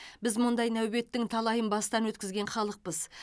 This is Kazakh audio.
біз мұндай нәубеттің талайын бастан өткізген халықпыз